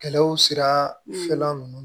Kɛlɛw sirafɛla ninnu